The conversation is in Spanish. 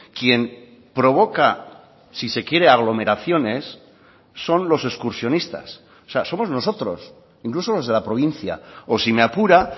quien provoca si se quiere aglomeraciones son los excursionistas o sea somos nosotros incluso los de la provincia o si me apura